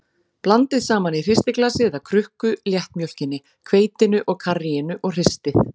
Blandið saman í hristiglasi eða krukku léttmjólkinni, hveitinu og karríinu og hristið.